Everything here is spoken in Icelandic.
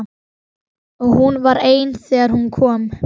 Og hún var ein þegar hún kom.